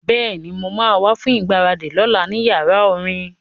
Bẹ́ẹ̀ni, mo ma wá fún ìgbáradì lọ́la ní yàrá orin